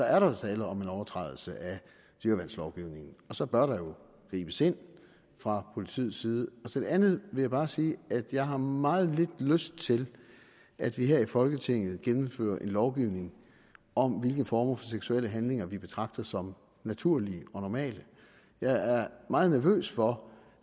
er der tale om en overtrædelse af dyreværnslovgivningen og så bør der jo gribes ind fra politiets side til det andet vil jeg bare sige at jeg har meget lidt lyst til at vi her i folketinget gennemfører en lovgivning om hvilke former for seksuelle handlinger vi betragter som naturlige og normale jeg er meget nervøs for